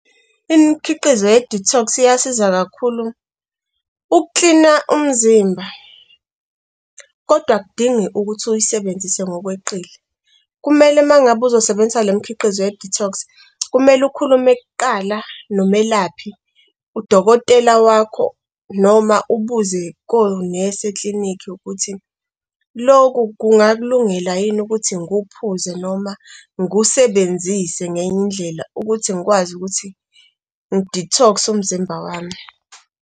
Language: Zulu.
Imikhiqizo ye-detox iyasiza kakhulu ukuklina umzimba, kodwa akudingi ukuthi uyisebenzise ngokweqile. Kumele uma ngabe uzosebenzisa le mkhiqizo ye-detox kumele ukhulume kuqala nomelaphi, udokotela wakho, noma ubuze konesi eklinikhi ukuthi lokhu kungakulungela yini ukuthi ngiwuphuze noma ngiwusebenzise ngenye indlela ukuthi ngikwazi ukuthi ngi-detox umzimba wami.